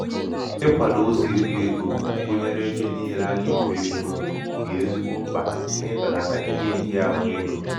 ikwādō ụzọ irī ego gụnyere ebe niilē a gà èri ego dị̀ ezigbo mkpà n’ibèlàtà ihe nhịahụ egō